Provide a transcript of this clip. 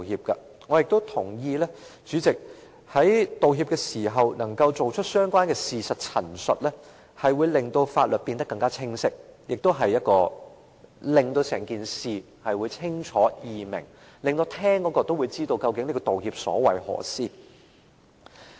代理主席，我也同意在道歉時能夠作相關的事實陳述，會令法律變得更清晰，使整件事更清楚和容易明白，亦令聆聽者知道究竟有關的道歉所為何事。